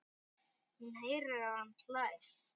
Hún heyrir að hann hlær.